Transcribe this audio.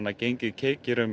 gengið keikir um